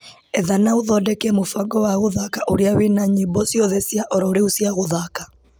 Etha na ũthondeke mũbango wa gũthaka ũrĩa wĩna nyĩmbo ciothe cia ororĩu cia gũthaka .